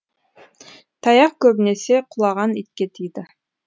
таяқ көбінесе құлаған итке тиді